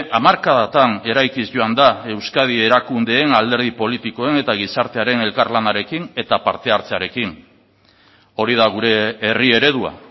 hamarkadatan eraikiz joan da euskadi erakundeen alderdi politikoen eta gizartearen elkarlanarekin eta parte hartzearekin hori da gure herri eredua